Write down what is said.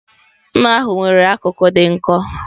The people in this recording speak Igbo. Mma ahu nwere akụkụ dị nkọ.